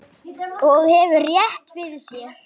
Og hefur rétt fyrir sér.